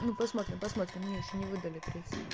ну посмотрим посмотрим мне ещё не выдали пресс